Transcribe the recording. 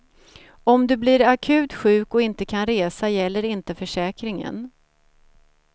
Om du blir akut sjuk och inte kan resa gäller inte försäkringen.